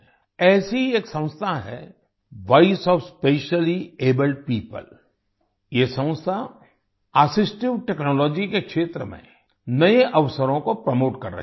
ऐसी ही एक संस्था है वॉइस ओएफ स्पेशलिएबल्ड पियोपल ये संस्था असिस्टिव टेक्नोलॉजी के क्षेत्र में नए अवसरों को प्रोमोट कर रही है